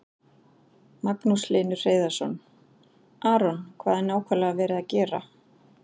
Magnús Hlynur Hreiðarsson: Aron, hvað er nákvæmlega verið að gera?